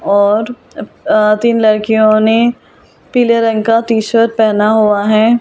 और अब तीन लड़कियों ने पीले रंग का टी शर्ट पहना हुआ है।